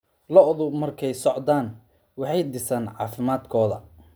Lo'du markay socdaan, waxay dhisaan caafimaadkooda.